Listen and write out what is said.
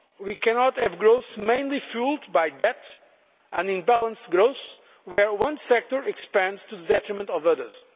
We cannot have growth mainly fuelled by debt or imbalanced growth where one sector expands to the detriment of others.